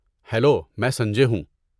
Hello, میں سنجے ہوں۔